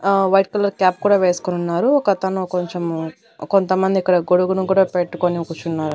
ఆ white colour cap కూడా వేసుకుని ఉన్నారు ఒకతను కొంచెం కొంతమంది ఇక్కడ గొడుగును కూడా పెట్టుకుని కూర్చున్నారు.